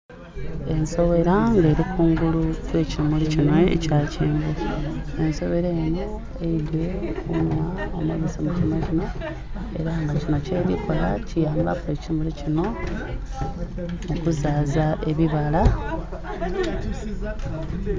Ensoghela nga eri kungulu kwe kimuli kinho ekya kyenvu ensoghela enho eidhye kunhwa omibisi mu kimuli kinho era nga kinho kyerikola kiyamba ekimuli kinho okuzaza ebibala.